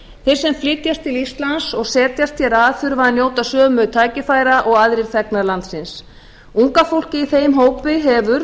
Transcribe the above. þeir sem flytjast til íslands og setjast hér að þurfa að njóta sömu tækifæra og aðrir þegnar landsins unga fólkið í þeim hópi hefur